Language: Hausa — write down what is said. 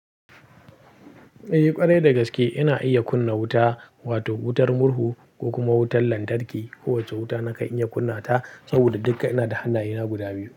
Eh ƙarai da gaske ina iya kunna wuta, wato wutar murhu ko kuma wutar lantarki. Kowace wuta nakan iya kunna ta saboda duka ina da hannayena guda biyu.